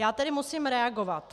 Já tedy musím reagovat.